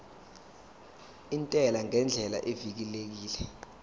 intela ngendlela evikelekile